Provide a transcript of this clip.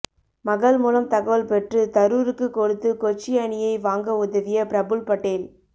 மகள் மூலம் தகவல் பெற்று தரூருக்கு கொடுத்து கொச்சி அணியை வாங்க உதவிய பிரபுல் படேல்